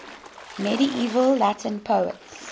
medieval latin poets